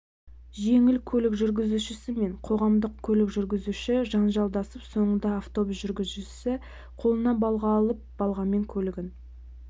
жеңіл көлік жүргізушісі мен қоғамдық көлік жүргізуші жанжалдасып соңында автобус жүргізушісі қолына балға алып балғамен көлігін